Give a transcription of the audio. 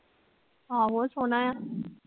ਆਹੋ ਸੋਹਣਾ ਆ